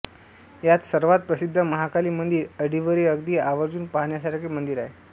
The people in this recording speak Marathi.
यात सर्वात प्रसिद्ध महाकाली मंदिर अडिवरे अगदी आवर्जून पाहण्यासारखे मंदिर आहे